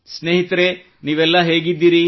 ಸ್ನೇಹಿತರೇ ನೀವೆಲ್ಲ ಹೇಗಿದ್ದೀರಿ